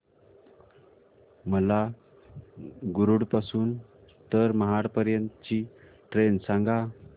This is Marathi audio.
मला मुरुड पासून तर महाड पर्यंत ची ट्रेन सांगा